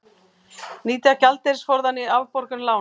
Nýta gjaldeyrisforðann í afborgun lána